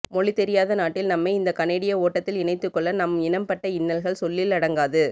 மொழி தெரியாத நாட்டில் நம்மை இந்த கனேடிய ஓட்டத்தில் இணைத்துக்கொள்ள நம் இனம் பட்ட இன்னல்கள் சொல்லில் அடங்காது